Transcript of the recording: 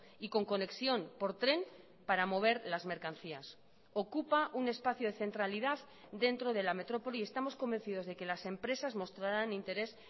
y con conexión por tren para mover las mercancías ocupa un espacio de centralidad dentro de la metrópoli y estamos convencidos de que las empresas mostrarán interés